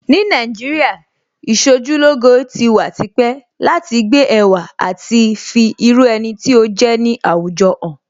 Ní Nàìjíríà, Ìṣojúlóge ti wà tipẹ́ láti gbé ẹwà àti fi irú ẹni tí ó jẹ́ ní àwùjọ hàn